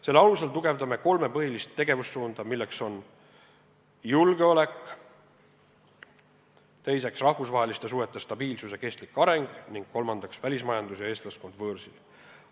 Selle alusel tugevdame kolme põhilist tegevussuunda: esiteks, julgeolek, teiseks, rahvusvaheliste suhete stabiilsus ja kestlik areng ning kolmandaks, välismajandus ja eestlaskond võõrsil.